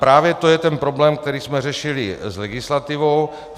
Právě to je ten problém, který jsme řešili s legislativou.